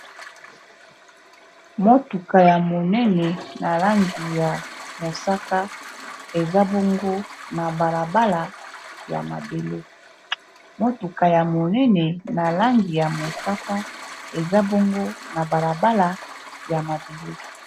motuka ya monene na langi ya mosaka eza bongo na balabala ya mabele